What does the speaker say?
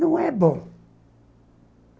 Não é bom.